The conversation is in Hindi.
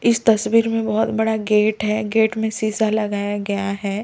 इस तस्वीर में बहोत बड़ा गेट है गेट में शिशा लगाया गया है।